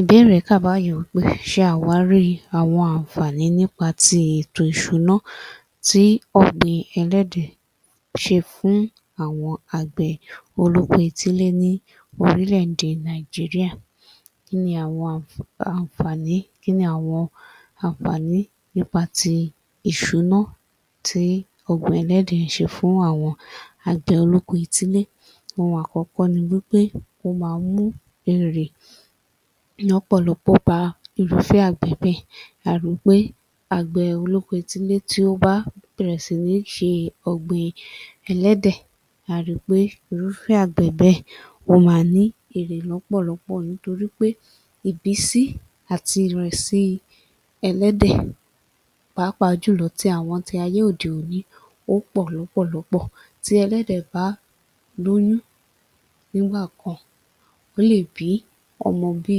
Ìbéèrè kà báyìí wí pé ṣe àwárí àwọn ànfààní nípa ti ètò ìṣúná ti ọ̀gbìn ẹlẹ́dẹ̀ ṣe fún àwọn àgbẹ̀ olóko etílé ní orílẹ̀-èdè Nàìjíríà. [Kí ni àwọn àn… ànfààní] Kí ni àwọn ànfààní nípa ti ìṣúná tí ọ̀gbìn ẹlẹ́dẹ̀ ń ṣe fún àwọn àgbẹ̀ olóko etílé. Ohun àkọ́kọ́ ni wí pé ó máa ń mú èrè ní ọ̀pọ̀lọ́pọ̀ bá irúfẹ́ àgbẹ̀ bẹ́ẹ̀. A ri wí pé àgbẹ̀ olóko etílé tí ó bá bẹ̀rẹ̀ sí ní ṣe ọ̀gbìn ẹlẹ́dẹ̀, a ri pé irúfẹ́ àgbẹ̀ bẹ́ẹ̀ ó máa ní èrè lọ́pọ̀lọpọ nítorí pé ìbísí àti ìrẹ̀sí ẹlẹ́dẹ̀ pàápàá jùlọ tí àwọn ti ayé òde-òní ó pọ̀ lọ́pọ̀lọpọ̀. Tí ẹlẹ́dẹ̀ bá lóyún nígbà kan, ó lè bí ọmọ bi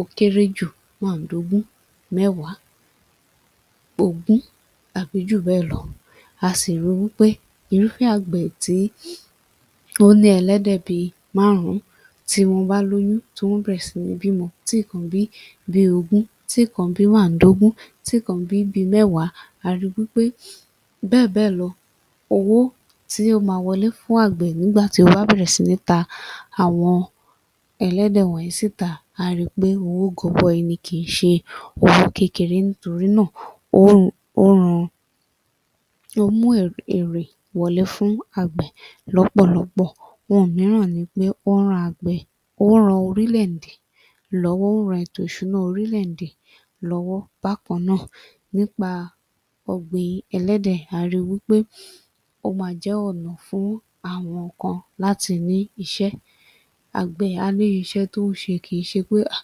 ó kéré jù máàdógún, mẹ́wàá, ogún àbí ju bẹ́ẹ̀ lọ. A sì ri wí pé irúfẹ́ àgbẹ̀ tí ó ní ẹlẹ́dẹ̀ bi márùn-ún, tí wọ́n bá lóyún tí wọ́n bẹ̀rẹ̀ sí ní bímọ tíkan bí bi ogún, tíkan bí máàdógún, tíkan bí bi mẹ́wàá a ri wí pé bẹ́ẹ̀ bẹ́ẹ̀ lọ. Owó tí ó máa wọlé fún àgbẹ̀ nígbà tí ó bá bẹ̀rẹ̀ sí ní ta àwọn ẹlẹ́dẹ̀ wọ̀nyí síta, á á ri pé owó gọbọi ni kì í ṣe owó kékeré nítorí náà [ó ń, ó ń ran] ó ń mú èrè wọlé fún àgbẹ̀ lọ́pọ̀lọpọ̀. Ohun mìíràn ni pé ó ń [ran àgbẹ̀ ó ń] ran orílẹ̀-èdè lọ́wọ́. Ó ń ran ètò ìṣúná orílẹ̀-èdè lọ́wọ́ bákan náà. Nípa ọ̀gbìn ẹlẹ́dẹ̀, a ri wí pé ó ma jẹ́ ọ̀nà fún àwọn kan láti ní iṣẹ́. Àgbẹ̀ á rí iṣẹ́ tó ń ṣe kì í ṣe pé hà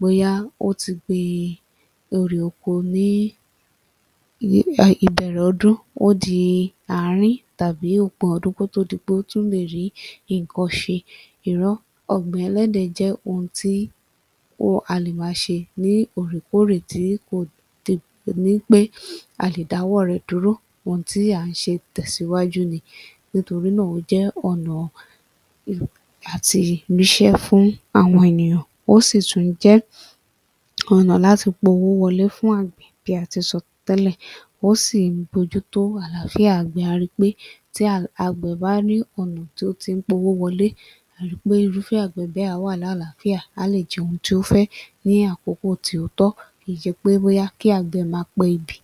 bóyá ó ti gbin erè oko ní ìbẹ̀rẹ̀ ọdún, ó di àárín tàbí òpin ọdún kó tó di pé ó tún lè rí nǹkan ṣe. Irọ́! Ọ̀gbìn ẹlẹ́dẹ̀ jẹ́ ohun tí [ó] a lè máa ṣe ní òòrèkóòrè tí kò ní wí pé a lè dáwọ́ rẹ̀ dúró. Ohun tí à ń ṣe tẹ̀síwájú ni, nítorí náà ó jẹ́ ọ̀nà à ti ríṣẹ́ fún àwọn ènìyàn ó sì tún jẹ́ ọ̀nà láti powó wọlé fún àgbẹ̀ bí a ti sọ tẹ́lẹ̀ ó sì ń bójú tó àlááfíà àgbẹ̀. A ri pé tí àgbẹ̀ bá rí ọ̀nà tí ó ti ń powó wọlé, a ri pé irúfẹ́ àgbẹ̀ bẹ́ẹ̀ á wà lálàáfíà. Á lè jẹ ohun tí ó fẹ́ ní àkókò tí ó tọ́, kì í ṣe pé bóyá kí àgbẹ̀ máa pebi.